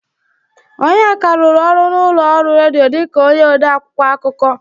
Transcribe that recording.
Onyeka rụrụ ọrụ n'ụlọ ọrụ redio dịka onye ode akwụkwọ akụkọ.